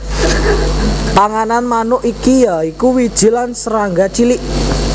Panganan manuk iki ya iku wiji lan serangga cilik